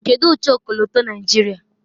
kedu ụcha ọkọlọtọ Naijiria